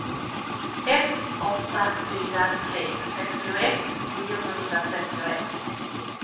ett åtta fyra tre sextioett niohundratrettioett